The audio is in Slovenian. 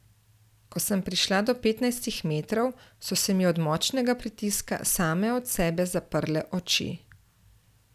Ko sem prišla do petnajstih metrov, so se mi od močnega pritiska same od sebe zaprle oči.